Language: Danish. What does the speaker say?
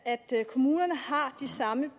kommunerne har det samme